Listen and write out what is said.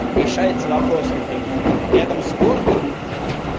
решается вопрос например рядом с городом